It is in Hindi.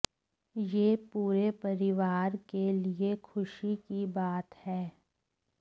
यह पूरे परिवार के लिए खुशी की बात है